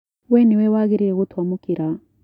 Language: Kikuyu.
We nĩwe wagĩrĩire gũtũamũkĩra.